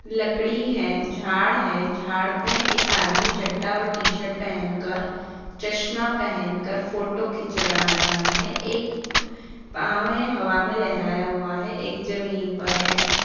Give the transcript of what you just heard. लकड़ी है झाड़ है झाड़ पे एक आदमी चड्डा और टी-शर्ट पहन कर चश्मा पहेन कर फोटो खींचा र रहा है | एक पावे हवा में लहराया हुआ है एक जमीन पर है।